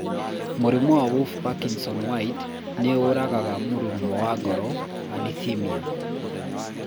Mũrimũ wa Wolff Parkinson White nĩ ũragaga mũrurumo wa ngoro (arrhythmia).